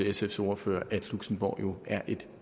sfs ordfører at luxembourg jo er et